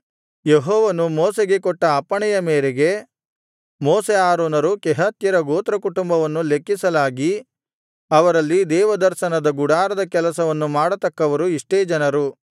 ಯೆಹೋವನು ಮೋಶೆಗೆ ಕೊಟ್ಟ ಅಪ್ಪಣೆಯ ಮೇರೆಗೆ ಮೋಶೆ ಆರೋನರು ಕೆಹಾತ್ಯರ ಗೋತ್ರಕುಟುಂಬವನ್ನು ಲೆಕ್ಕಿಸಲಾಗಿ ಅವರಲ್ಲಿ ದೇವದರ್ಶನದ ಗುಡಾರದ ಕೆಲಸವನ್ನು ಮಾಡತಕ್ಕವರು ಇಷ್ಟೇ ಜನರು